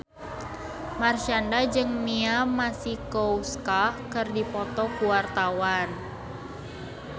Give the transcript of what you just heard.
Marshanda jeung Mia Masikowska keur dipoto ku wartawan